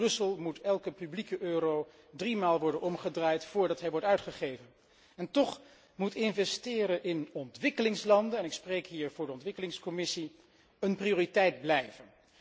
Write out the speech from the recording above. Ook in Brussel moet elke publieke euro driemaal worden omgedraaid voordat hij wordt uitgegeven. Toch moet investeren in ontwikkelingslanden en ik spreek hier voor de Commissie ontwikkelingszaken een prioriteit blijven.